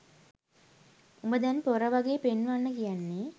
උඹ දැන් පොර වගේ පෙන්වන්න කියන්නේ